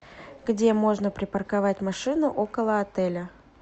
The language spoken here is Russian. где можно припарковать машину около отеля